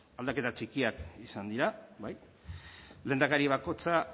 aldaketa txikiak izan dira bai lehendakari bakoitza